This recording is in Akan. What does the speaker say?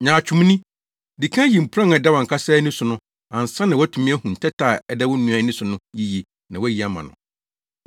Nyaatwomni! Di kan yi mpuran a ɛda wʼankasa ani so no ansa na woatumi ahu ntɛtɛ a ɛda wo nua ani so no yiye na woayi ama no.